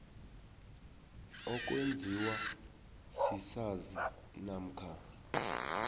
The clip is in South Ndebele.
okwenziwa sisazi namkha